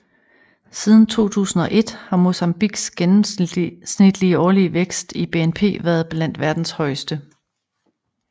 Siden 2001 har Mozambiques gennemsnitlige årlige vækst i BNP været blandt verdens højeste